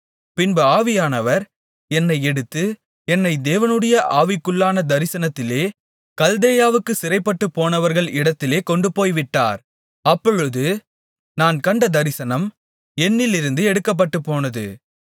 பின்பு ஆவியானவர் என்னை எடுத்து என்னை தேவனுடைய ஆவிக்குள்ளான தரிசனத்திலே கல்தேயாவுக்குச் சிறைப்பட்டுப்போனவர்கள் இடத்திலே கொண்டுபோய்விட்டார் அப்பொழுது நான் கண்ட தரிசனம் என்னிலிருந்து எடுக்கப்பட்டுப்போனது